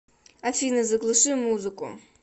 афина заглуши музыку